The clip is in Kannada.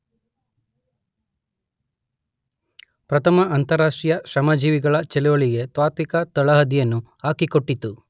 ಪ್ರಥಮ ಅಂತಾರಾಷ್ಟ್ರೀಯ ಶ್ರಮಜೀವಿಗಳ ಚಳವಳಿಗೆ ತಾತ್ತ್ವಿಕ ತಳಹದಿಯನ್ನು ಹಾಕಿಕೊಟ್ಟಿತು.